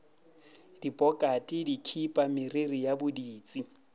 dipokate dikhipa meriri ya boditsi